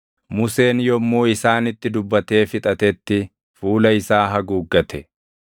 Museen yommuu isaanitti dubbatee fixatetti fuula isaa haguuggate.